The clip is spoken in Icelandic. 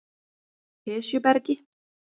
Esjubergi